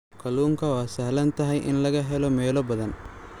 Kalluunka waa sahlan tahay in laga helo meelo badan.